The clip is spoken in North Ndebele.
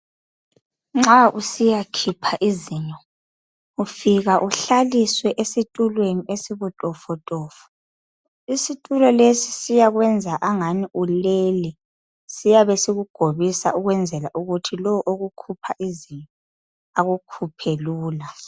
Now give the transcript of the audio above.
Nxa usiya khipha izinyo, ufika uhlaliswe esitulweni esibutofotofo. Isitulo lesi siyakwenza angani ulele. Siyabe sikugobisa ukwenzela ukuthi lowo okukhupha izinyo akukhuphe lula.